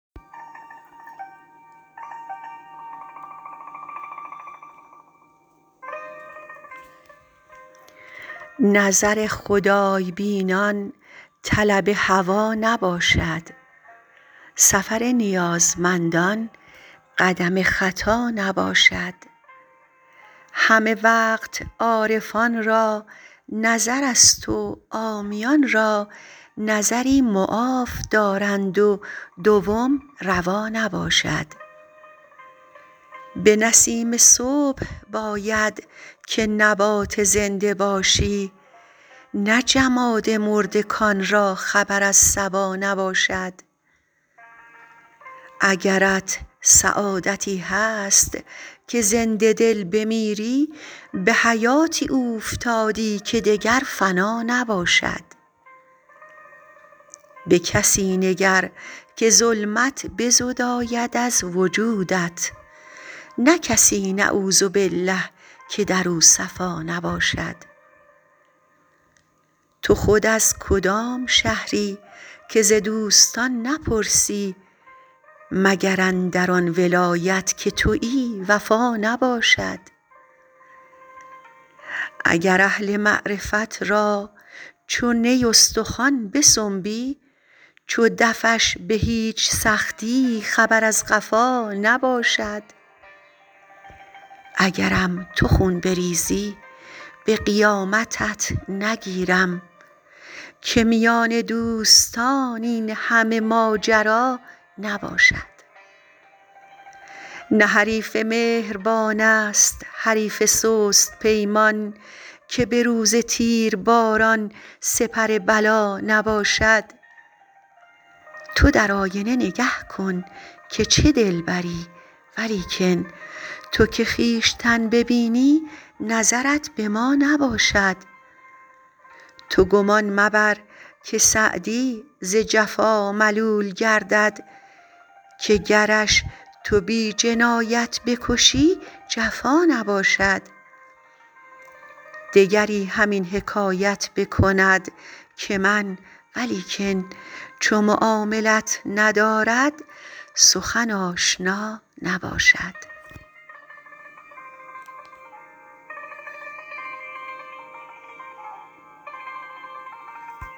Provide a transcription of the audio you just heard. نظر خدای بینان طلب هوا نباشد سفر نیازمندان قدم خطا نباشد همه وقت عارفان را نظرست و عامیان را نظری معاف دارند و دوم روا نباشد به نسیم صبح باید که نبات زنده باشی نه جماد مرده کان را خبر از صبا نباشد اگرت سعادتی هست که زنده دل بمیری به حیاتی اوفتادی که دگر فنا نباشد به کسی نگر که ظلمت بزداید از وجودت نه کسی نعوذبالله که در او صفا نباشد تو خود از کدام شهری که ز دوستان نپرسی مگر اندر آن ولایت که تویی وفا نباشد اگر اهل معرفت را چو نی استخوان بسنبی چو دفش به هیچ سختی خبر از قفا نباشد اگرم تو خون بریزی به قیامتت نگیرم که میان دوستان این همه ماجرا نباشد نه حریف مهربان ست حریف سست پیمان که به روز تیرباران سپر بلا نباشد تو در آینه نگه کن که چه دلبری ولیکن تو که خویشتن ببینی نظرت به ما نباشد تو گمان مبر که سعدی ز جفا ملول گردد که گرش تو بی جنایت بکشی جفا نباشد دگری همین حکایت بکند که من ولیکن چو معاملت ندارد سخن آشنا نباشد